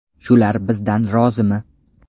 Shular bizdan rozimi?